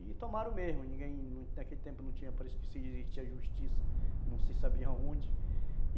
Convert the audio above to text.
E tomaram mesmo, ninguém, naquele tempo não tinha para, a justiça, não se sabiam onde.